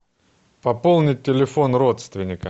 пополнить телефон родственника